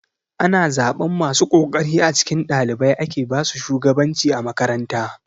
Ana zaɓan masu kokari a cikin ɗalibai ake basu shugabanci a makaranta.